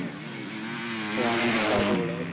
रामायण पाहतो गड्या.